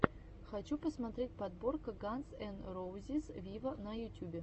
хочу посмотреть подборка ганз эн роузиз виво на ютюбе